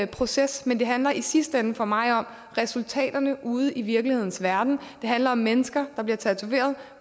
proces men det handler i sidste ende for mig om resultaterne ude i virkelighedens verden det handler om mennesker der bliver tatoveret